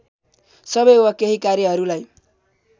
सबै वा केही कार्यहरूलाई